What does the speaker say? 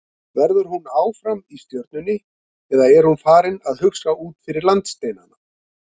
Verður hún áfram í Stjörnunni eða er hún farin að hugsa út fyrir landsteinana?